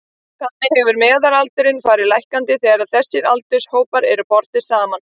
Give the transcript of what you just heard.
Þannig hefur meðalaldurinn farið lækkandi þegar þessir aldurshópar eru bornir saman.